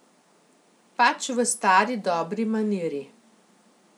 Pač v stari dobri maniri.